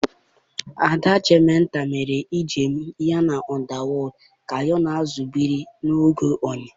Ada Demeter mere njem ya na Underworld ka ya na azụ biri n'oge oyi.